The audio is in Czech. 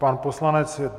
Pan poslanec...